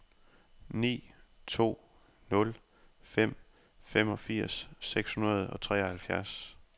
ni to nul fem femogfirs seks hundrede og treoghalvfjerds